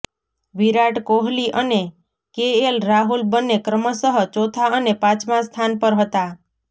વિરાટ કોહલી અને કેએલ રાહુલ બંને ક્રમશઃ ચોથા અને પાંચમાં સ્થાન પર હતા